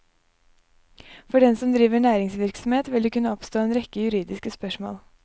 For den som driver næringsvirksomhet vil det kunne oppstå en rekke juridiske spørsmål.